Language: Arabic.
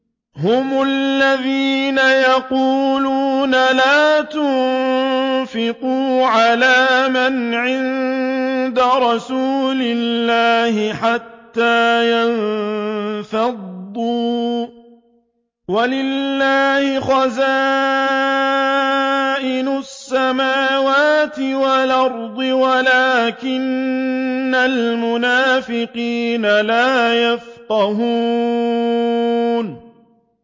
هُمُ الَّذِينَ يَقُولُونَ لَا تُنفِقُوا عَلَىٰ مَنْ عِندَ رَسُولِ اللَّهِ حَتَّىٰ يَنفَضُّوا ۗ وَلِلَّهِ خَزَائِنُ السَّمَاوَاتِ وَالْأَرْضِ وَلَٰكِنَّ الْمُنَافِقِينَ لَا يَفْقَهُونَ